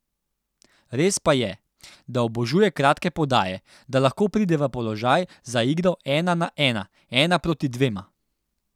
Res pa je, da obožuje kratke podaje, da lahko pride v položaj za igro ena na ena, ena proti dvema.